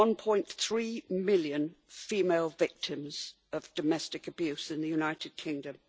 1.3 million female victims of domestic abuse in the United Kingdom.